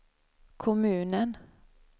kommunen